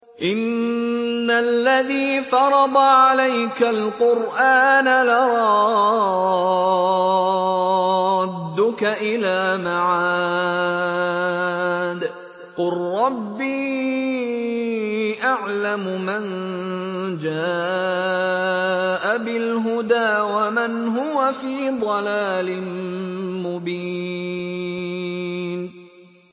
إِنَّ الَّذِي فَرَضَ عَلَيْكَ الْقُرْآنَ لَرَادُّكَ إِلَىٰ مَعَادٍ ۚ قُل رَّبِّي أَعْلَمُ مَن جَاءَ بِالْهُدَىٰ وَمَنْ هُوَ فِي ضَلَالٍ مُّبِينٍ